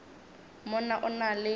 mo na o na le